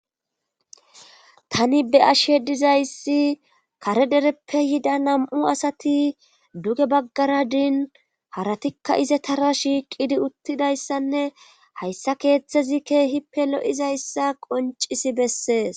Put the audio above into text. tani be'ashe dizayssi kare dereppe yida nam7u asati duge baggara din haratikka izetara shiiqidi uttidayssanne hayssa keeththezi keehippe lo7izayssa qoncisi bessees